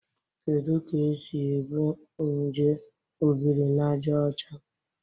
Kedu ka e si ebu nje Obirinajaọcha?